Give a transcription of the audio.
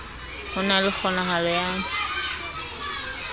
ho na le kgonahalo ya